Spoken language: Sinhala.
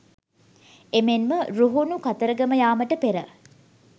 එමෙන්ම රුහුණු කතරගම යාමට පෙර